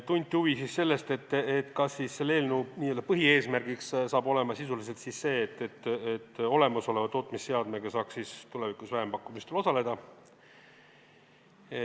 Tunti huvi, kas selle eelnõu n-ö põhieesmärgiks saab olema sisuliselt see, et olemasoleva tootmisseadmega saaks tulevikus vähempakkumistel osaleda.